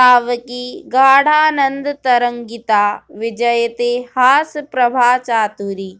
तावकी गाढानन्दतरङ्गिता विजयते हासप्रभाचातुरी